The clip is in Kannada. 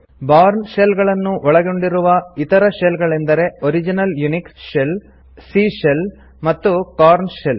ಬೌರ್ನ್ ಶೆಲ್ ಅನ್ನು ಒಳಗೊಂಡಿರುವ ಇತರ ಶೆಲ್ ಗಳೆಂದರೆ original Unix shell C shell ಮತ್ತು ಕೊರ್ನ್ ಶೆಲ್